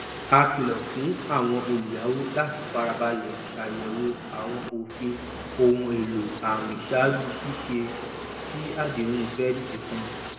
a kìlọ fún àwọn olùyàwó láti fara balẹ ṣàyẹwò àwọn òfin ohun èlò àwìn ṣáájú ṣíṣe sí àdéhùn kirẹdìtì kan